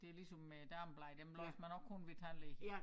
Det ligesom med dameblade dem læser man også kun ved æ tandlæge